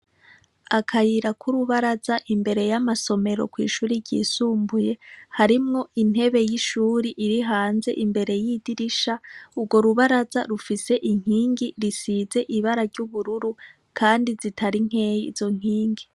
Akayira k'urubaraza imbere y'amasomero kw'ishure ryisumbuye harimwo intebe y'ishure iri hanze imbere y'idirisha, urwo rubaraza rufise inkingi risize ibara ry'ubururu kandi zitari nkeyi izo nkingi.